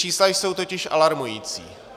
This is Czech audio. Čísla jsou totiž alarmující.